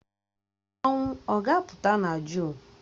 Mmanwụ ọ ga-apụta na Jụn?